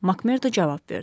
Makmerdo cavab verdi: